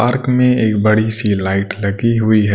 Park में एक बड़ी सी लाइट लगी हुई है।